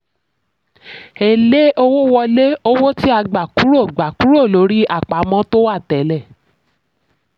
èlé owó wọlé: owó tí a gba kúrò gba kúrò lórí àpamọ́ tó wà tẹ́lẹ̀.